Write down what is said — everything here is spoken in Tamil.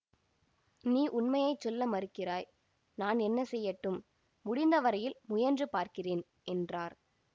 நீ உண்மையை சொல்ல மறுக்கிறாய் நான் என்ன செய்யட்டும் முடிந்த வரையில் முயன்று பார்க்கிறேன் என்றார்